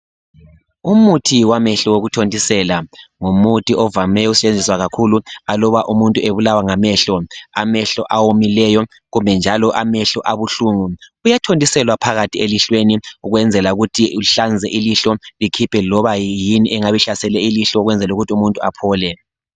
Umuthi wamehlo wokuthontisela ngumuthi ovame ukusebenzisa kakhulu aluba umuntu ebulawa ngamehlo. Amehlo awomileyo kumbe njalo amehlo abuhlungu uyathontiselwa phakathi elihlweni ukwenzela ukuthi uhlanze ilihlo likhiphe loba yini engabe ihlasele ilihlo ukwenzela ukuthi umuntu aphole